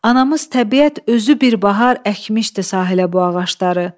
Anamız təbiət özü bir bahar əkmişdi sahilə bu ağacları.